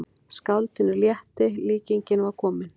Skáldinu létti, líkingin var komin.